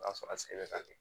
O y'a sɔrɔ a se bɛ ka kɛ